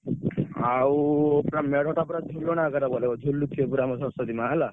ଆଉ ତା ମେଢଟା ତ ଝୁଲଣା ଆକରେ ବନେଇବ।